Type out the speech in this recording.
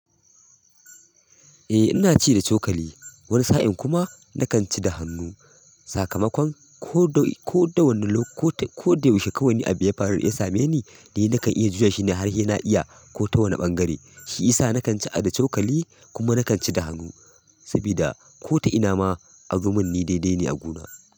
Eh ina ci da cokali wani sa'in kuma nakan ci da hannu. Sakamakon ko da wane lokaci ko da yaushe kawai abu ya faru ya same ni dai nakan iya juya shine har ina iya ko ta wane ɓangare. Shi ya sa nakan ci da cokali kuma nakan ci da hannu saboda ko ta ina ma azomin ni daidai ne a guna.